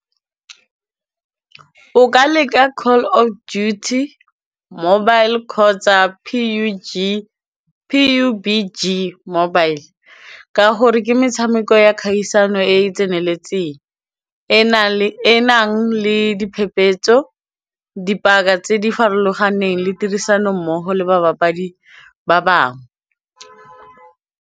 O ka leka call of duty mobile kgotsa P_U_B_G mobile ka gore ke metshameko ya kgaisano e e tseneletseng e nang le diphephetso, dipaka tse di farologaneng le tirisanommogo le babapadi ba bangwe.